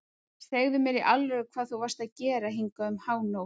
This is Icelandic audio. Segðu mér í alvöru hvað þú varst að gera hingað um hánótt.